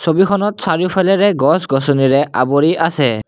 ছবিখনত চাৰিওফালেৰে গছ-গছনিৰে আৱৰি আছে।